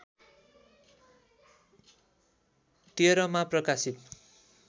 १३ मा प्रकाशित